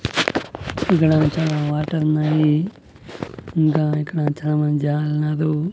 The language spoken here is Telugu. ఇక్కడ చాలా వాటర్ ఉన్నాయి ఇంకా ఇక్కడ చాలామంది జనాలు ఉన్నారు.